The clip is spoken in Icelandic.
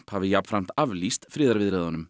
hafi jafnframt aflýst friðarviðræðunum